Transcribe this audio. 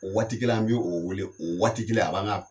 O waati kelen an bɛ o weele, o waati kelen a b'an ka